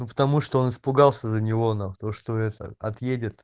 ну потому что он испугался за него нахуй то что это отъедет